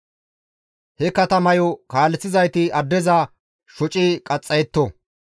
He katamayo kaaleththizayti addeza shoci qaxxayetto.